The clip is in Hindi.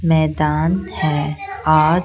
मैदान है और--